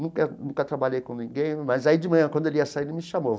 Nunca nunca trabalhei com ninguém, mas aí de manhã, quando ele ia sair, ele me chamou.